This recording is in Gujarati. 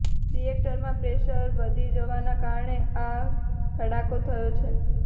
રીએક્ટરમાં પ્રેશર વધી જવાના કારણે આ ધડાકો થયો છે